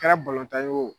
Kɛra tan ye o